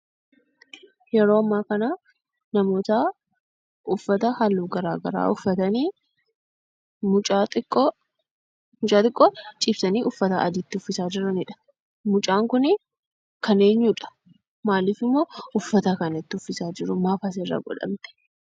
Yeroo amma kana namoota uffata halluu garaa garaa uffatanii mucaa xiqqoo ciibsanii uffata adii itti uffisaa jiranidha. Mucaan kunii kan eenyudha? Maalifimmoo uffata kana itti uwwisaa jiru? Maaf asirra godhamte?